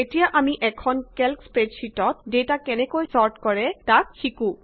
এতিয়া আমি এখন কেল্ক স্প্ৰেডশিটত ডেটা কেনেকৈ ছৰ্ট কৰে তাক শিকো